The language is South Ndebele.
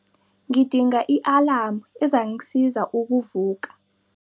Ngidinga i-alamu ezangisiza ukuvuka.